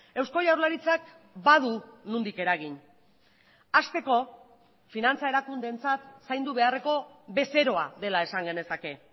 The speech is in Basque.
eusko jaurlaritzak badu nondik eragin hasteko finantza erakundeentzat zaindu beharreko bezeroa dela esan genezake